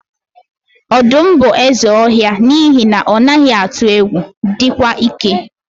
Ọdụm bụ eze ọhịa n'ihi na ọ naghị atụ egwu, dịkwa ike.